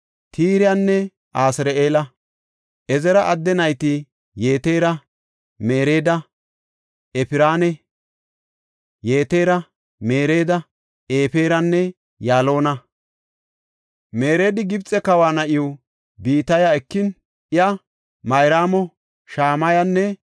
Ezira adde nayti Yetera, Mereeda, Eferanne Yaalona. Mereedi Gibxe kawa na7iw Bitiya ekin iya Mayraamo, Shamayanne Yishiba yelasu. Yishibi Eshtamoo7a yelis.